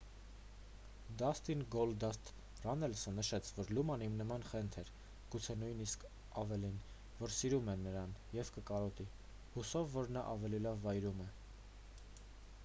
դասթին գոլդասթ ռաննելսը նշեց որ լունան իմ նման խենթ էր գուցե նույնիսկ ավելին որ սիրում է նրան և կկարոտի հուսով որ նա ավելի լավ վայրում է